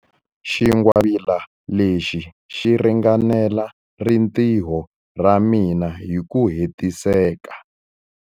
Xingwavila lexi xi ringanela rintiho ra mina hi ku hetiseka.